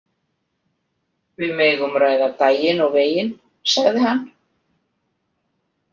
Við megum ræða daginn og veginn, sagði hann.